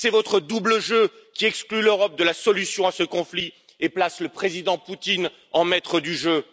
C'est votre double jeu qui exclut l'Europe de la solution à ce conflit et place le président Poutine en maître du jeu.